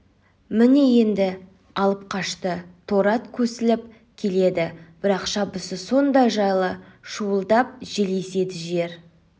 міне енді алып қашты торы ат көсіліп келеді бірақ шабысы сондай жайлы шуылдап жел еседі жер